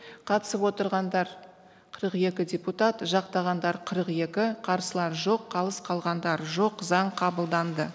қатысып отырғандар қырық екі депутат жақтағандар қырық екі қарсылар жоқ қалыс қалғандар жоқ заң қабылданды